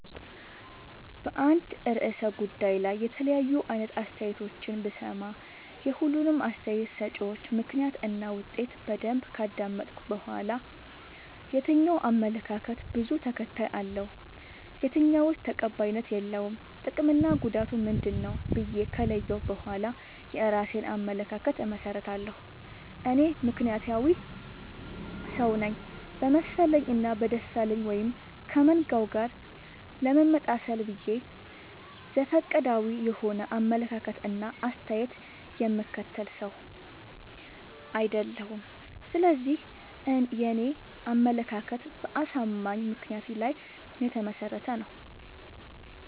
በአንድ እርሰ ጉዳይ ላይ የተለያዩ አይነት አስተያየቶችን ብሰማ። የሁሉንም አስታየት ሰጭወች ምክንያት እና ውጤት በደንብ ካዳመጥኩ በኋላ። የትኛው አመለካከት በዙ ተከታይ አለው። የትኛውስ ተቀባይነት የለውም ጥቅምና ጉዳቱ ምንድ ነው ብዬ ከለየሁ በኋላ የእራሴን አመለካከት አመሠርታለሁ። እኔ ምክንያታዊ ሰውነኝ በመሰለኝ እና በደሳለኝ ወይም ከመንጋው ጋር ለመመጣሰል ብዬ ዘፈቀዳዊ የሆነ አመለካከት እና አስተያየት የምከተል ሰው። አይደለሁም ስለዚህ የኔ አመለካከት በአሳማኝ ምክንያት ላይ የተመሰረተ ነው።